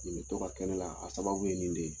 Nin bɛ to ka kɛ ne la, a sababu ye nin de ye.